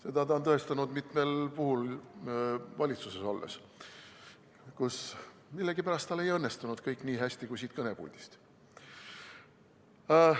Seda ta on tõestanud mitmel puhul valitsuses olles, kus tal millegipärast ei õnnestunud kõik nii hästi kui siit kõnepuldist.